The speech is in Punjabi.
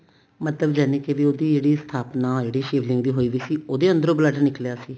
ਮਤਲਬ ਜਾਨੀ ਕੇ ਵੀ ਉਹਦੀ ਜਿਹੜੀ ਸਥਾਪਨਾ ਸ਼ਿਵ ਲਿੰਗ ਦੀ ਹੋਈ ਪਈ ਸੀ ਉਹਦੇ ਅੰਦਰੋਂ blood ਨਿਕਲਿਆ ਸੀ